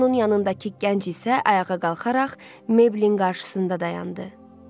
Onun yanındakı gənc isə ayağa qalxaraq Meyblin qarşısında dayandı.